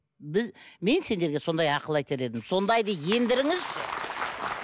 мен сендерге сондай ақыл айтар едім сондайды ендіріңізші